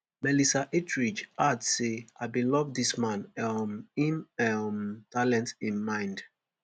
melissa etheridge add say i bin love dis man um im um talent im mind